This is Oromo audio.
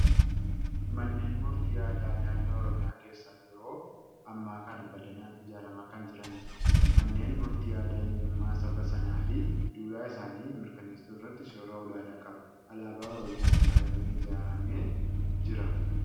Manneen murtii aadaa naannoo Oromiyaa keessa yeroo ammaa kana bal'inaan ijaaramaa kan jiranidha. Manneen murtii aadaa eenyummaa saba sanaa fi duudhaa isaanii mirkaneessuu irratti shoora olaanaa qaba. Alaabaa Oromiyaan faayamee ijaaramee jira.